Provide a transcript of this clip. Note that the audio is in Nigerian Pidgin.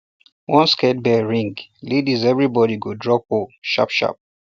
once scared bell ring ladies everybody go drop hoe sharpsharp